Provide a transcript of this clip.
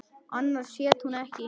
Annars hét hún ekki